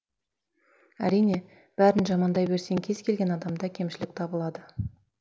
әрине бәрін жамандай берсең кез келген адамда кемшілік табылады